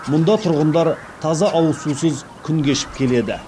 мұнда тұрғындар таза ауызсусыз күн кешіп келеді